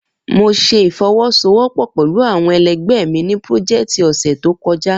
Mo ṣe ifowosowopo pẹlu awọn ẹlẹgbẹ mi ni peoject ọsẹ to kọja.